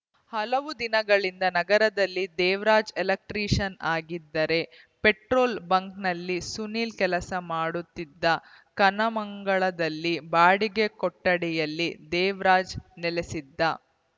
ಹಲವು ದಿನಗಳಿಂದ ನಗರದಲ್ಲಿ ದೇವರಾಜ್‌ ಎಲೆಕ್ಟ್ರಿಷನ್‌ ಆಗಿದ್ದರೆ ಪೆಟ್ರೋಲ್‌ ಬಂಕ್‌ನಲ್ಲಿ ಸುನೀಲ್‌ ಕೆಲಸ ಮಾಡುತ್ತಿದ್ದ ಕನ್ನಮಂಗಲದಲ್ಲಿ ಬಾಡಿಗೆ ಕೊಠಡಿಯಲ್ಲಿ ದೇವರಾಜ್‌ ನೆಲೆಸಿದ್ದ